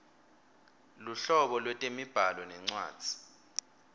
luhlobo lwetemibhalo nencwadzi